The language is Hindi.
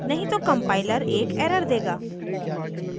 नहीं तो compiler एक error देगा